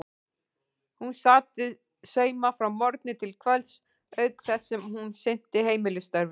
Hún sat við sauma frá morgni til kvölds auk þess sem hún sinnti heimilisstörfunum.